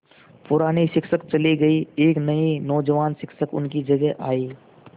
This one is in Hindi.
पुराने शिक्षक चले गये एक नये नौजवान शिक्षक उनकी जगह आये